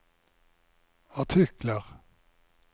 artikler